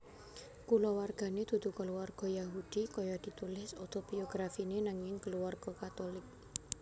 Kulawargané dudu kulawarga Yahudi kaya ditulis otobiografiné nanging kulawarga Katulik